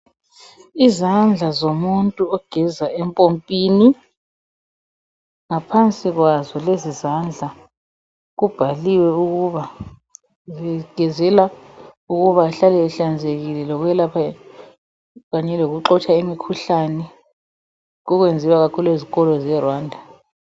Izandla zomuntu ogeza empompini ngaphansi kwazo lezi izandla kubhaliwe ukuba zigezela ukuba ahlale ehlanzekile lokwelapha kanye lokuxotsha imikhuhlane okwenziwa kakhulu ezikolo seRwanda.